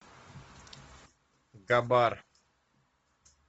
габар